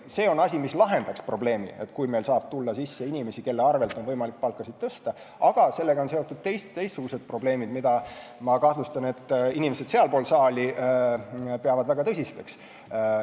See lahendaks ühe probleemi, sest meile tuleks sisse inimesi, kelle arvel on võimalik palka tõsta, aga sellega on seotud teistsugused probleemid, mida, ma kahtlustan, inimesed sealpool saali peavad väga tõsisteks.